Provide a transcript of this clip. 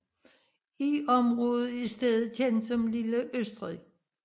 I området er stedet kendt som lille Østrig